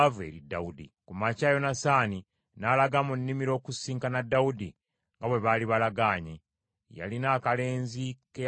Ku makya Yonasaani n’alaga mu nnimiro okusisinkana Dawudi, nga bwe baali balagaanye. Yalina akalenzi ke yagenda nako,